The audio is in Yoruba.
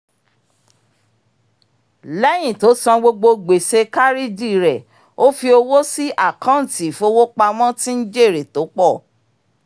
lẹ́yìn tó san gbogbo gbèsè kárìdì rẹ̀ ó fi owó sí àkọọ́ntì ìfowópamọ́ tí ń jèrè tó pọ̀